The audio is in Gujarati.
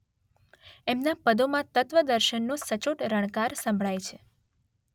એમનાં પદોમાં તત્વદર્શનનો સચોટ રણકાર સંભળાય છે